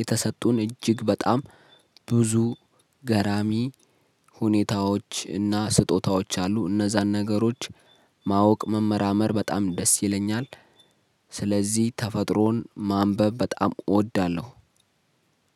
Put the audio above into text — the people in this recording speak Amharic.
የተሰጡን እጅግ በጣም ብዙ ገራሚ ሁኔታዎች እና ስጦታዎች አሉ። እነዛን ነገሮች ማወቅ መመራመር በጣም ደስ ይለኛል። ስለዚህ ተፈጥሮን ማንበብ በጣም እወደዋለሁ።